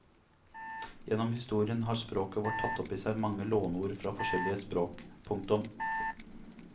Gjennom historien har språket vårt tatt opp i seg mange lånord fra forskjellige språk. punktum